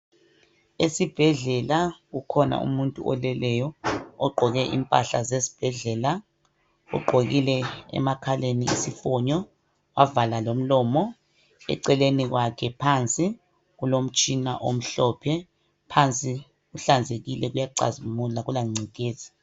Esibhedlela kukhona umuntu oleleyo ogqoke impahla zesibhedlela. Ugqokile emakhaleni isifonyo wavala lomlomo, eceleni kwakhe phansi kulomtshina omhlophe. Phansi kuhlanzekile kuyacazimula akula ngcekeza.